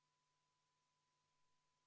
Ettepanekut toetas 41 Riigikogu liiget.